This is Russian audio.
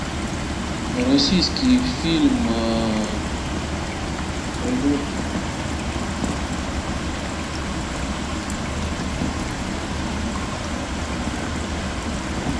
российский фильм производство россия с леонидом быковым про самолет